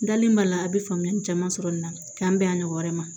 N dalen b'a la a bɛ faamuyali caman sɔrɔ nin na k'an bɛn a ɲɔgɔn wɛrɛ ma